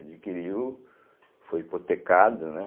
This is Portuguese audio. Adquiriu, foi hipotecado, né?